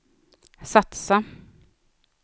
satsa